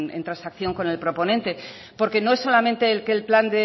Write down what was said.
en transacción con el proponente porque no es solamente que el plan